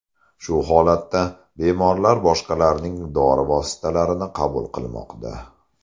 Shu holatda bemorlar boshqalarning dori vositalarini qabul qilmoqda.